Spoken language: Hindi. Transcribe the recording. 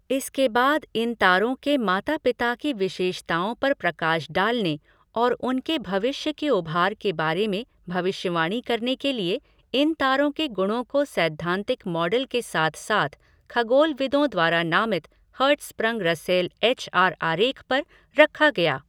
इसके बाद इन तारों के माता पिता की विशेषताओं पर प्रकाश डालने और उनके भविष्य के उभार के बारे में भविष्यवाणी करने के लिए, इन तारों के गुणों को सैद्धांतिक मॉडल के साथ साथ खगोलविदों द्वारा नामित हर्ट्ज़स्प्रंग रसेल एच आर आरेख पर रखा गया।